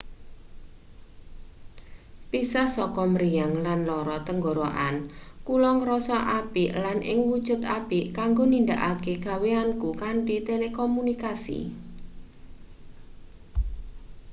pisah saka mriyang lan lara tenggorokan kula ngrasa apik lan ing wujud apik kanggo nindakake gaweanku kanthi telekomunikasi